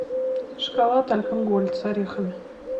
шоколад альпен гольд с орехами